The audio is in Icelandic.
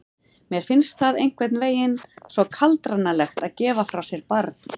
Mér finnst það einhvern veginn svo kaldranalegt að gefa frá sér barn.